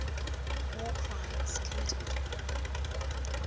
war crimes committed